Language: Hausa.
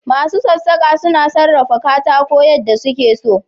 Masu sassaka suna sarrafa katako yadda suke so.